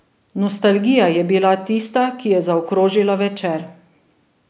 Nostalgija je bila tista, ki je zaokrožila večer.